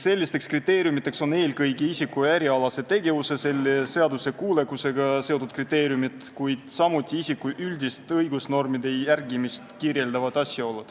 Sellised asjaolud on eelkõige seotud isiku ärialase tegevuse seaduskuulekusega, kuid ka sellega, kuidas isik üldisi õigusnorme järgib.